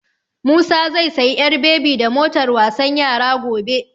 Musa zai sayi ƴar bebi da motar wasan yara gobe.